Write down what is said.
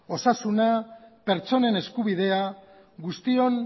osasuna pertsonen eskubidea guztion